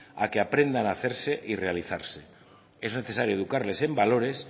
a que aprendan hacerse y realizarse es necesario educarles en valores